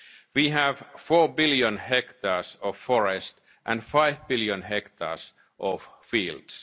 to increase carbon sinks. We have four billion hectares of forest and five billion